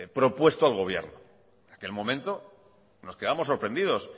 propuesto al gobierno en aquel momento nos quedamos sorprendidos